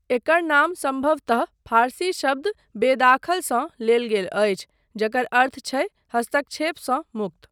एकर नाम सम्भवतः फारसी शब्द बेदाखलसँ लेल गेल अछि, जकर अर्थ छै हस्तक्षेपसँ मुक्त।